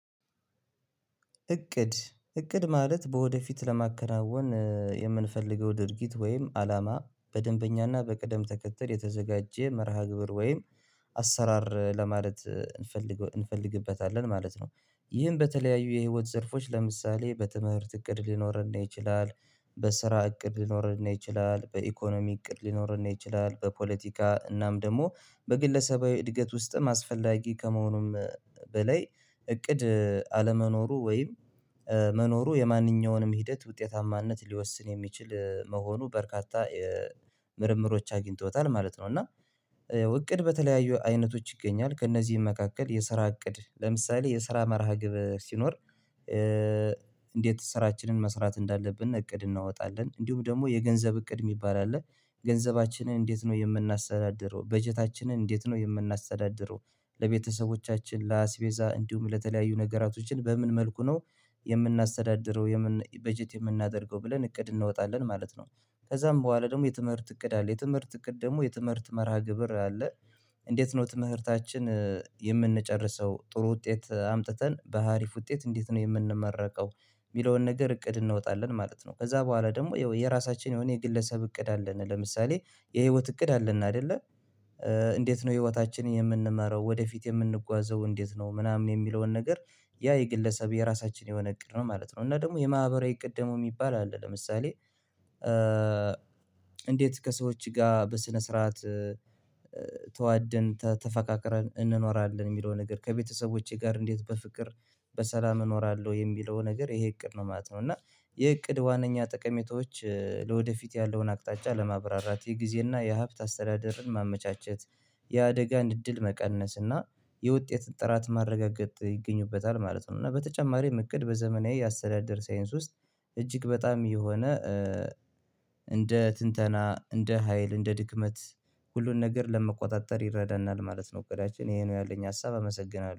እቅድ እቅድ ማለት በወደፊት ለማከናወን የምንፈልገው ድርጊት ወይም አላማ በደንበኛና በቅደም ተከተል የተዘጋጀ መርሃ ግብር ወይም አሰራር ለማለት እንፈልግ እንፈልግበታለን ማለት ነው። ይህን በተለያዩ የህይወት ዘርፎች ለምሳሌ በትምህርት እቅድ ሊኖርን ይችላል። በስራ እቅድ ሊኖርን ይችላል በኢኮኖሚ እቅድ ሊኖርን ይችላል በፖለቲካ እናም ደግሞ በግለሰባዊ እድገት ውስጥም አስፈላጊ ከመሆኑም በላይ እቅድ አለመኖሩ ወይም መኖሩ የማንኛውንም ሂደት ውጤታማነት ሊወስን የሚችል መሆኑ በርካታ ምርምሮች አግኝቶታል ማለት ነው። እና እቅድ በተለያዩ አይነቶች ይገኛል ከእነዚህም መካከል የስራ እቅድ ለምሳሌ የስራ መርሃ ግብር ሲኖር እንዴት ስራችንን መስራት እንዳለብን እቅድ እናወጣለን እንዲሁም ደግሞ የገንዘብ እቅድ የሚባል አለ። ገንዘባችንን እንዴት ነው የምናስቴዳድረው በጀታችንን እንዴት ነው የምናስተዳደረው ለቤተሰቦቻችን ለአስቤዛ እንዲሁም ለተለያዩ ነገራቶችን በምን መልኩ ነው የምናስተዳድረው በጀት የምናደርገው ብለን እቅድ እንወጣለን ማለት ነው። ከዛም በኋላ ደግሞ የትምህርት እቅድ አለ የትምህርት እቅድ ደግሞ የትምህርት መርሃ ግብር አለ። እንዴት ነው ትምህርታችን የምንጨርሰው ጥሩ ውጤት አምጥተን በሀሪፍ ውጤት እንዴት ነው የምንመረቀው የሚለውን ነገር እቅድ እንወጣለን ማለት ነው። ከዛ በኋላ ደግሞ የራሳችን የሆነ የግለሰብ እቅድ አለን ለምሳሌ የህይወት እቅድ አለን አይደለ? እንዴት ነው ህይወታችንን የምንመራው ወደፊት የምንጓዘው እንዴት ነው ምናምን የሚለውን ነገር ያ የግለሰብ የራሳችን የሆነ እቅድ ነው ማለት ነው። እና ደግሞ የማህበራዊ እቅድ ደግሞ የሚባል አለ ለምሳሌ እንዴት ከሰዎች ጋር በስነ ስርዓት ተዋደን ተፈቃቀረን እንኖራለን የሚለው ነገር ከቤተሰቦቼ ጋር እንዴት በፍቅር በሰላም እኖራለሁ የሚለው ነገር ይሄ እቅድ ነው ማለት ነው። እና የእቅድ ዋነኛ ጥቀሜቶች ለወደፊት ያለውን አቅጣጫ ለማብራራት የጊዜና የሀብት አስተዳደርን ማመቻቸት የአደጋን እድል መቀነስ እና የውጤት ጥራት ማረጋገጥ ይገኙበታል ማለት ነው። እና በተጨማሪም እቅድ በዘመናዊ የአሰተዳደር ሳይንስ ውስጥ እጅግ በጣም የሆነ እንደ ትንተና እንደ ሀይል እንደ ድክመት ሁሉን ነገር ለመቆጣጠር ይረዳናል ማለት ነው። እቅዳችን ይሄ ነው ያለኝ ሀሳብ አመሰግናለሁ